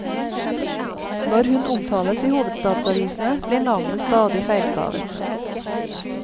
Når hun omtales i hovedstadsavisene, blir navnet stadig feilstavet.